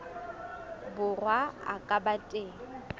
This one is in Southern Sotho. borwa a ka ba teng